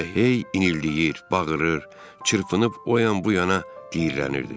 Elə hey inildəyir, bağırır, çırpınıb o yan bu yana diyirlənirdi.